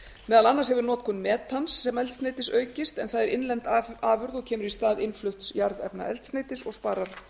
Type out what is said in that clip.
meðal annars hefur notkun metans sem eldsneytis aukist en það er innlend afurð og kemur í stað innflutts jarðefnaeldsneytis og sparar